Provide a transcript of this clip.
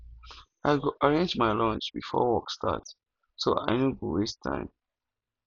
i go arrange my lunch before work start so i no go waste time